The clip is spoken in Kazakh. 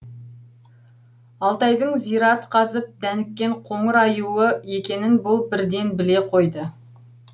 алтайдың зират қазып дәніккен қоңыр аюы екенін бұл бірденбіле қойды